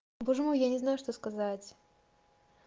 боже мой я не знаю что сказать